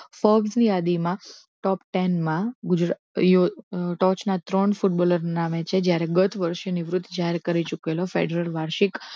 focus ની યાદીમાં top ten માં ગુજરાત ટોચના ત્રણ ફૂટબોલર નામે છે જ્યારે ગત વર્ષે નિવૃત્ત જાહેર કરી ચૂકેલો ફેડરેટ વાર્ષિક